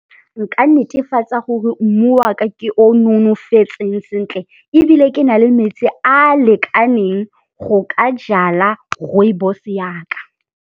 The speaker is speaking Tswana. Nka netefatsa gore mmu wa ka ke o o nonofetseng sentle, ebile ke na le metsi a a lekaneng go ka jala rooibos ya ka.